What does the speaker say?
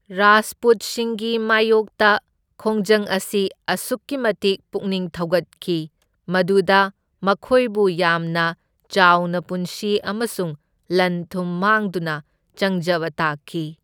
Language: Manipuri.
ꯔꯥꯖꯄꯨꯠꯁꯤꯡꯒꯤ ꯃꯥꯢꯌꯣꯛꯇ ꯈꯣꯡꯖꯪ ꯑꯁꯤ ꯑꯁꯨꯛꯀꯤ ꯃꯇꯤꯛ ꯄꯨꯛꯅꯤꯡ ꯊꯧꯒꯠꯈꯤ, ꯃꯗꯨꯗ ꯃꯈꯣꯏꯕꯨ ꯌꯥꯝꯅ ꯆꯥꯎꯅ ꯄꯨꯟꯁꯤ ꯑꯃꯁꯨꯡ ꯂꯟ ꯊꯨꯝ ꯃꯥꯡꯗꯨꯅ ꯆꯪꯖꯕ ꯇꯥꯈꯤ꯫